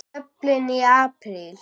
Dublin í apríl